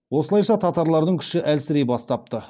осылайша татарлардың күші әлсірей бастапты